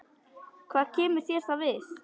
Hvað kemur það þér við?